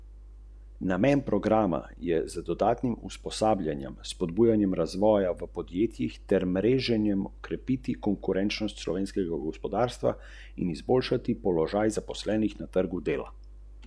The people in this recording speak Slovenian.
Kot je razvidno iz dokumenta, se zlorabe nanašajo predvsem na prepoved sklepanja pogodb civilnega prava, konkretneje pa gre za siljenje delavcev v pridobivanje statusa samostojnega podjetnika.